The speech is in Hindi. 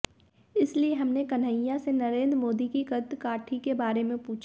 इसलिए हमने कन्हैया से नरेंद्र मोदी की कदकाठी के बारे में पूछा